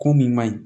Ko min man ɲi